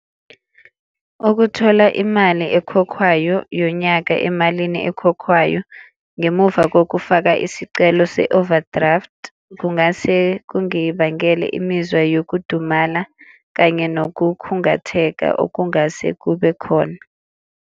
Ukuthola imali ekhokhwayo yonyaka emalini ekhokhwayo ngemuva kokufaka isicelo se-overdraft kungase kungibangela imizwa yokudumala kanye nokukhungatheka okungase kube khona.